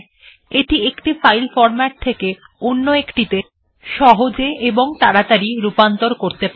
এটি একটি file format থেকে অন্য একটিত়ে সহজে এবং তাড়াতাড়ি রূপান্তর করতে পারে